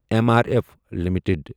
M R F limited